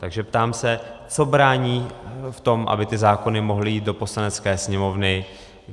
Takže se ptám: Co brání v tom, aby ty zákony mohly jít do Poslanecké sněmovny?